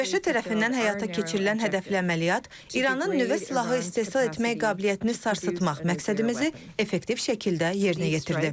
ABŞ tərəfindən həyata keçirilən hədəfli əməliyyat İranın nüvə silahı istehsal etmək qabiliyyətini sarsıtmaq məqsədimizi effektiv şəkildə yerinə yetirdi.